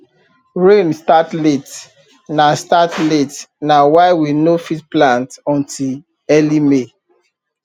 rain start late na start late na why we no fit plant until early may